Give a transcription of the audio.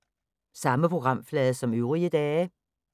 Samme programflade som øvrige dage